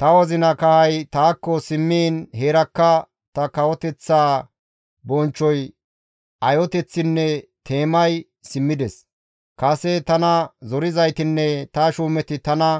«Ta wozina kahay taakko simmiin heerakka ta kawoteththas bonchchoy, ayoteththinne teemay simmides; kase tana zorizaytinne ta shuumeti tana